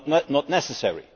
not necessary.